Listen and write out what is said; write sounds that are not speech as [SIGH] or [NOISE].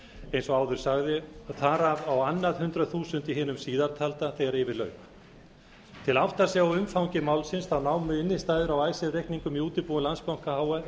eins og áður sagði þar af á annað hundrað þúsund í hinu síðartalda þegar yfir lauk til að átta sig á umfangi málsins námu innstæður á [UNINTELLIGIBLE] reikningum í útibúi landsbanka íslands